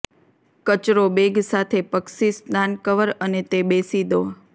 કચરો બેગ સાથે પક્ષી સ્નાન કવર અને તે બેસી દો